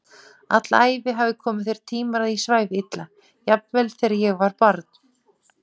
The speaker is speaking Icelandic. Alla æfi hafa komið þeir tímar að ég svæfi illa, jafnvel þegar ég var barn.